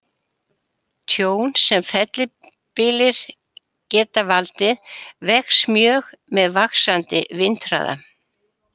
Tjón sem fellibyljir geta valdið vex mjög með vaxandi vindhraða.